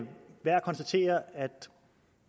værd at konstatere